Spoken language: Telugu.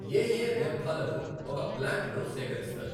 ఏ ఏ వ్యర్థాలను ఒక ప్లాంట్ లో సేకరిస్తారు.